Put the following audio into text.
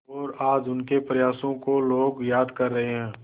और आज उनके प्रयासों को लोग याद कर रहे हैं